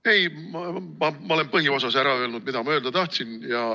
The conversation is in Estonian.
Ei, ma olen põhiosas ära öelnud, mida ma öelda tahtsin.